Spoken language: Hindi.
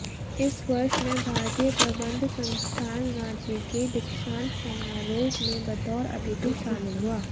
इस वर्ष मैं भारतीय प्रबंध संस्थान रांची के दीक्षांत समारोह में बतौर अतिथि शामिल हुआ